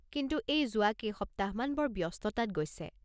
কিন্তু এই যোৱা কেইসপ্তাহমান বৰ ব্যস্ততাত গৈছে।